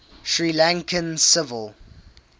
sri lankan civil